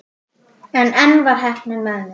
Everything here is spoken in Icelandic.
En enn var heppnin með mér.